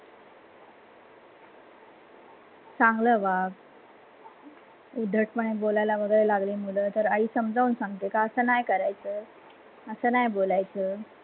चांगल वाग उद्धटपण बोलायला लागली मुलगा तर, आई समजोन सांगतो की अस नाही करायचं अस नाही बोलायच.